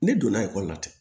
Ne donna ekɔli la ten